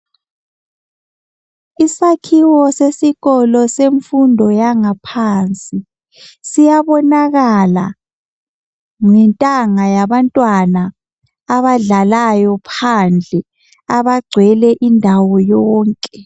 Isakhiwo sesikolo senfundo yangaphansi .Siyabonakala ngentanga yabantwana abadlalayo phandle abagcwele indawo yonke.